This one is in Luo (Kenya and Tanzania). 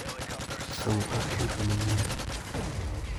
Som ote duto manyien .